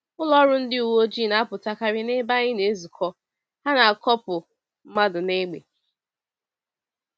Ụlọọrụ ndị uweojii na-apụtakarị n’ebe anyị na-ezukọ, ha na-akọpụ mmadụ n’egbe.